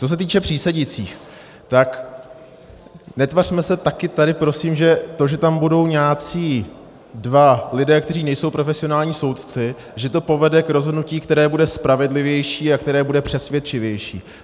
Co se týče přísedících, tak netvařme se taky tady prosím, že to, že tam budou nějací dva lidé, kteří nejsou profesionální soudci, že to povede k rozhodnutí, které bude spravedlivější a které bude přesvědčivější.